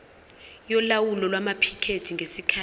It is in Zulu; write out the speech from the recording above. yolawulo lwamaphikethi ngesikhathi